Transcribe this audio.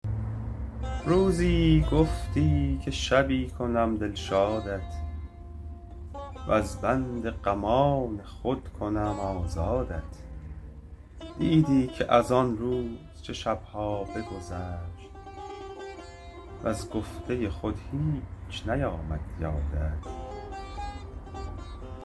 روزی گفتی شبی کنم دلشادت وز بند غمان خود کنم آزادت دیدی که از آن روز چه شب ها بگذشت وز گفته خود هیچ نیامد یادت